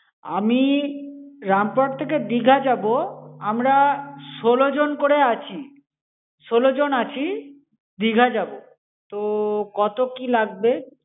আমি রামপুরহাট থেকে দিঘা যাবো। আমরা ষোলোজন করে আছি। ষোলোজন আছি, দিঘা যাবো। তো, কত কি লাগবে?